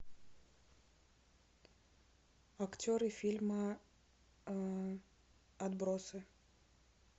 актеры фильма отбросы